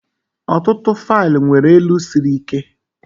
Ọtụtụ faịlụ nwere elu siri ike.